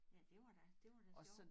Ja det var da det var da sjovt